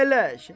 Əyləş.